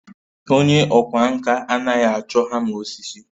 Onye ọkwá nkà anaghị achọ hama osisi